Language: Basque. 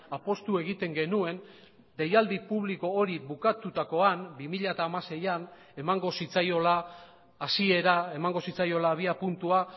apustu egiten genuen deialdi publiko hori bukatutakoan bi mila hamaseian emango zitzaiola hasiera emango zitzaiola abiapuntua